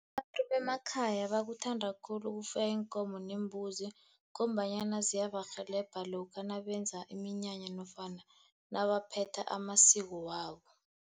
Abantu bemakhaya bakuthanda khulu ukufuya iinkomo neembuzi, ngombanyana ziyabarhelebha lokha nabenza iminyanya nofana nabaphetha amasiko wabo.